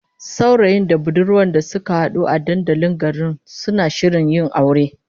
Saurayin da budurwar da suka hadu a dandalin garin, suna shirin yin aure